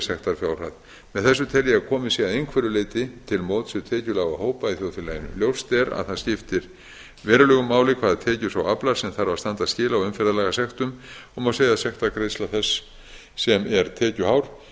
sektarfjárhæð með þessu tel ég að komið sé að einhverju leyti til móts við tekjulága hópa í þjóðfélaginu ljóst er að það skiptir verulegu máli hvaða tekna sá aflar sem þarf að standa skil á umferðarlagasektum og má segja að sektargreiðsla þess sem er tekjuhár sé